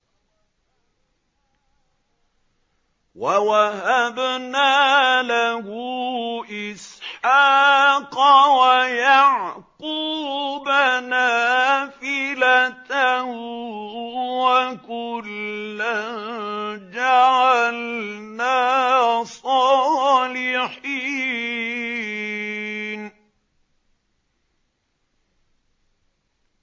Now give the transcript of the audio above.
وَوَهَبْنَا لَهُ إِسْحَاقَ وَيَعْقُوبَ نَافِلَةً ۖ وَكُلًّا جَعَلْنَا صَالِحِينَ